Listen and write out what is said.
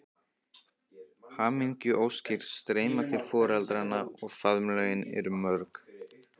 Hamingjuóskir streyma til foreldranna og faðmlögin eru mörg.